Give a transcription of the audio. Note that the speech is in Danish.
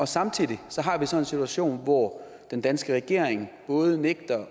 samtidig har vi så en situation hvor den danske regering både nægter